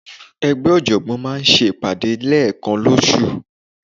Ẹgbẹ́ ọ̀jọ̀gbọ́n maa n se ipade ni lekan losu